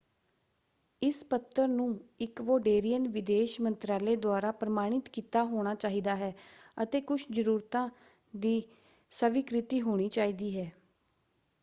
ਇਸ ਪੱਤਰ ਨੂੰ ਇਕਵੋਡੇਰੀਅਨ ਵਿਦੇਸ਼ ਮੰਤਰਾਲੇ ਦੁਆਰਾ ਪ੍ਰਮਾਣਿਤ ਕੀਤਾ ਹੋਣਾ ਚਾਹੀਦਾ ਹੈ ਅਤੇ ਕੁਝ ਜ਼ਰੂਰਤਾਂ ਦੀ ਸਵੀਕ੍ਰਿਤੀ ਹੋਣੀ ਚਾਹੀਦੀ ਹੈ।